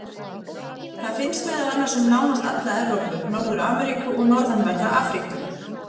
Það finnst meðal annars um nánast alla Evrópu, Norður-Ameríku og norðanverða Afríku.